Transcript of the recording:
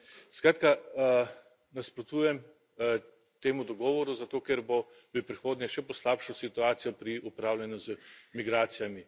Skratka, nasprotujem temu dogovoru, zato ker bo v prihodnje še poslabšal situacijo pri upravljanju z migracijami.